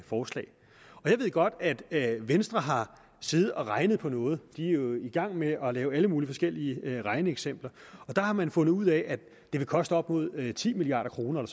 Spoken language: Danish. forslag og jeg ved godt at venstre har siddet og regnet på noget de er jo i gang med at lave alle mulige forskellige regneeksempler og der har man fundet ud af at det ville koste op mod ti milliard kroner